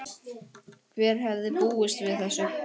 Hver hefði búist við þessu?